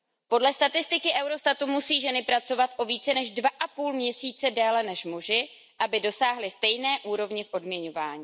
Podle statistiky Eurostatu musí ženy pracovat o více než dva a půl měsíce déle než muži, aby dosáhly stejné úrovně v odměňování.